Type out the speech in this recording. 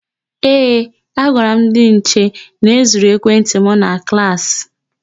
Ee, agwara m ndị nche na e zuru ekwentị m na klaasị.